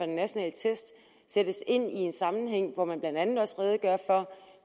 nationale test sættes ind i en sammenhæng hvor man blandt andet også redegør for